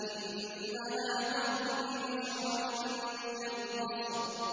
إِنَّهَا تَرْمِي بِشَرَرٍ كَالْقَصْرِ